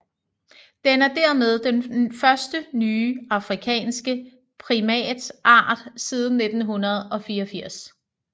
Den er dermed den første nye afrikanske primatart siden 1984